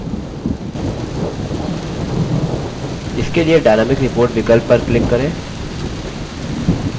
इसके लिए dynamic report विकल्प पर click करें